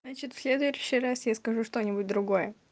значит в следующий раз я скажу что-нибудь другое